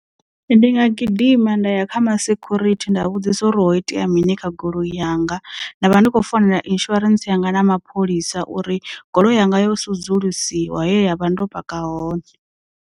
Ndi nga gidima nda ya kha ma security nda vhudzisa uri ho itea mini kha goloi yanga nda vha ndi khou founela insurance yanga na mapholisa uri goloi yanga yo sudzulusiwa he ndavha ndo paka hone.